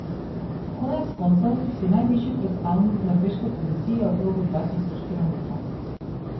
Konec koncev si najvišji predstavnik norveške policije v krogu dva tisoč kilometrov.